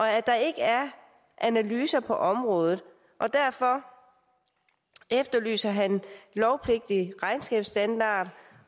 at der ikke er analyser på området derfor efterlyser han lovpligtige regnskabsstandarder